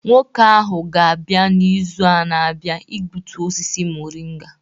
Nwoke ahụ ga-abịa n'izu na-abịa igbutu osisi moringa.